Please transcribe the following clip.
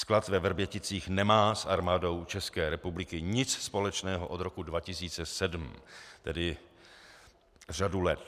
Sklad ve Vrběticích nemá s Armádou České republiky nic společného od roku 2007, tedy řadu let.